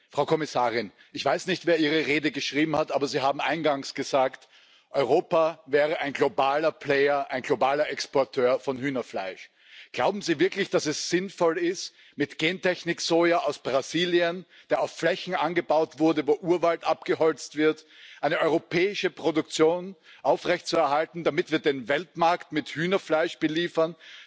Frau Kommissarin, ich weiß nicht, wer Ihre Rede geschrieben hat, aber Sie haben eingangs gesagt, Europa wäre ein globaler Player, ein globaler Exporteur von Hühnerfleisch. Glauben Sie wirklich, dass es sinnvoll ist, mit Gentechnik Soja aus Brasilien, das auf Flächen angebaut wurde, wo Urwald abgeholzt wird, eine europäische Produktion aufrechtzuerhalten, damit wir den Weltmarkt mit Hühnerfleisch beliefern?